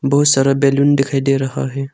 बहुत सारा बैलून दिखाई दे रहा है।